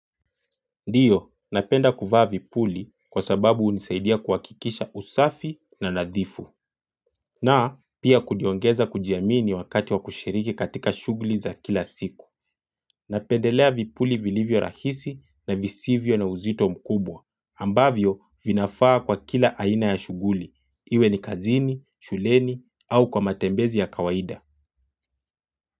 Ndiyo, napenda kuvaa vipuli kwa sababu hunisaidia kuhakikisha usafi na nadhifu na pia kujiongeza kujiamini wakati wa kushiriki katika shughuli za kila siku Napendelea vipuli vilivyorahisi na visivyo na uzito mkubwa ambavyo vinafaa kwa kila aina ya shughuli, iwe ni kazini, shuleni, au kwa matembezi ya kawaida.